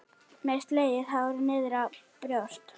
Með slegið hár niðrá brjóst.